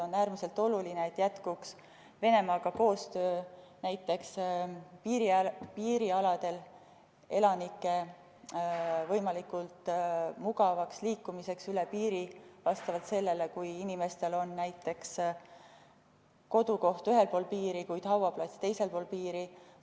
On äärmiselt oluline, et jätkuks Venemaaga koostöö näiteks piirialadel elanike võimalikult mugavaks liikumiseks üle piiri, näiteks kui inimestel on kodukoht ühel pool piiri, kuid hauaplats teisel pool piiri vms.